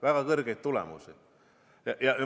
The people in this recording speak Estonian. Väga kõrgeid tulemusi!